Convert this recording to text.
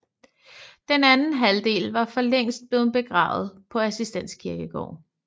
Den anden halvdel var for længst blevet begravet på Assistens Kirkegård